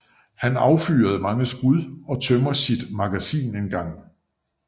Han affyrer mange skud og tømmer sit magasin en gang